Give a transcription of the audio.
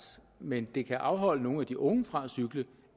men det kan afholde nogle af de unge fra at cykle